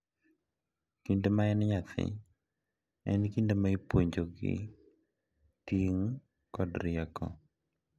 kinde ma en nyathi en kinde ma ipuonjogi ting’ kod rieko.